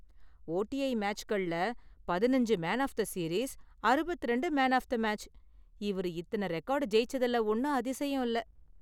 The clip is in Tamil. ஓடிஐ மேட்ச்கள்ல பதினைஞ்சி மேன் ஆஃப் தி சீரீஸ், அறுபத்திரண்டு மேன் ஆஃப் தி மேட்ச், இவர் இத்தன ரெக்கார்டு ஜெயிச்சதுல ஒன்னும் அதிசயம் இல்ல;